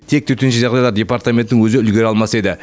тек төтенше жағдайлар департаментінің өзі үлгере алмас еді